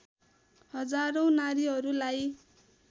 हजारौँ नारीहरूलाई